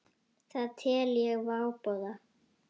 Það tel ég váboða.